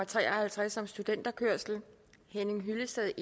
tre og halvtreds henning hyllested